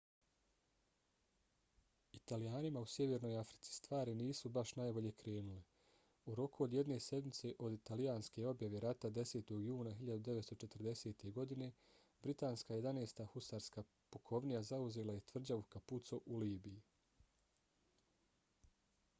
italijanima u sjevernoj africi stvari nisu baš najbolje krenule. u roku od jedne sedmice od italijanske objave rata 10. juna 1940. godine britanska 11. husarska pukovnija zauzela je tvrđavu capuzzo u libiji